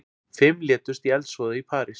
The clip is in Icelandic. Fimm létust í eldsvoða í París